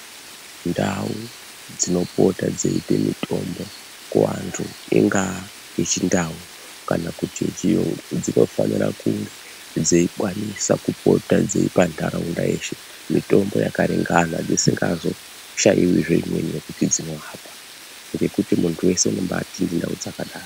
Ndau dzino pota dzeipe mitombo ku antu inga yechi ndau kana kuti ye chiyungu dzino fanira kunge dzei kwanisa kupota dzeipa ndaraunda yeshe mitombo yaka ringana dzisingazo shaiwi zve imweni yekuti dzino apa ngekuti muntu wese unobai tende ndau dzakadaro.